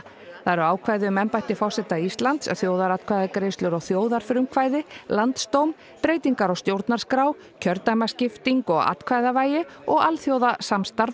það eru ákvæði um embætti forseta Íslands þjóðaratkvæðagreiðslur og þjóðarfrumkvæði landsdóm breytingar á stjórnarskrá kjördæmaskiptingu og atkvæðavægi og alþjóðasamstarf